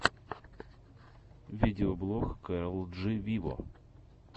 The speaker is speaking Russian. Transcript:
видеоблог кэрол джи виво